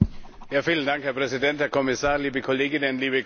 Herr Präsident, Herr Kommissar, liebe Kolleginnen, liebe Kollegen!